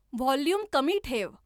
volume कमी ठेव